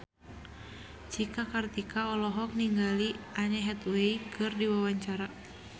Cika Kartika olohok ningali Anne Hathaway keur diwawancara